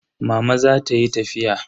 Mama za ta yi tafiya.